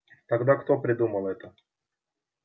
тогда кто придумал это